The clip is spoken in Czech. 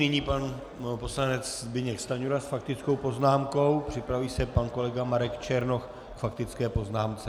Nyní pan poslanec Zbyněk Stanjura s faktickou poznámkou, připraví se pan kolega Marek Černoch k faktické poznámce.